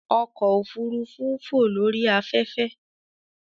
Ọkọ ofurufu n fo lori afẹfẹ.